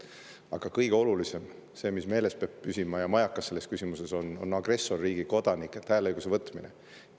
Aga kõige olulisem, see, mis meeles peab püsima ja mis on majakas selles küsimuses, on agressorriigi kodanikelt hääleõiguse võtmine.